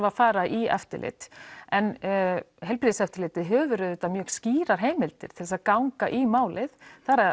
að fara í eftirlit en heilbrigðiseftirlitið hefur auðvitað mjög skýrar heimildir til að ganga í málið það